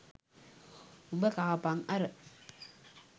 උඹ කාපන් අර